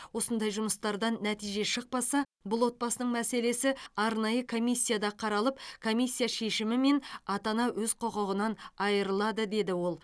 осындай жұмыстардан нәтиже шықпаса бұл отбасының мәселесі арнайы комиссияда қаралып комиссия шешімімен ата ана өз құқығынан айырылады деді ол